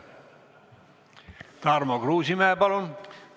Tarmo Kruusimäe, palun!